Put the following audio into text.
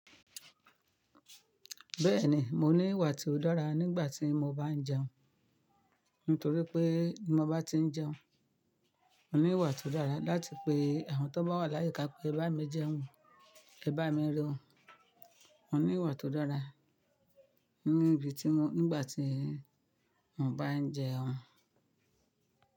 Bẹ́ẹ̀ni, mo ní ìwà tí ó dára nígbà tí mo bá ń jẹun. Nítorí pé bi mo bá tí ń jẹun, mo ní ìwà tó dára láti pe àwọn tó bá wà láyíká pé ẹ bá mi jẹun, ẹ bá mi re o. Mo ní ìwà tó dára níbi tí mo, nígbà tí mo bá ń jẹun.